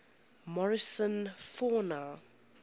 morrison fauna